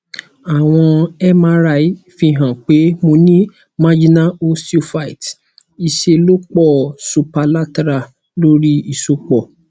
awọn mri fi han pé mo ní marginal osteophyte ìṣèlọ́pọ superlaterally lórí ìsopọ̀